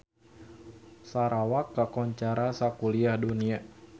Sarawak kakoncara sakuliah dunya